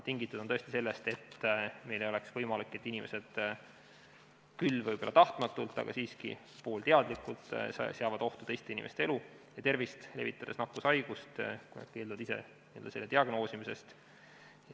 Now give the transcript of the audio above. Tingitud on see sellest, et ei oleks võimalik, et inimesed, küll võib-olla tahtmatult, aga siiski poolteadlikult seavad ohtu teiste inimeste elu ja tervise, levitades nakkushaigust, keeldudes selle diagnoosimisest.